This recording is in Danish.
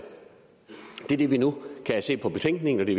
det er det vi nu kan se af betænkningen og det